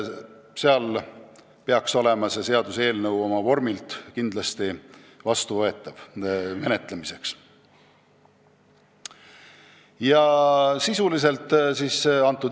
Seega peaks see kindlasti menetlemiseks kõlbulik olema.